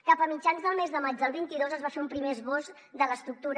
cap a mitjans del mes de maig del vint dos es va fer un primer esbós de l’estructura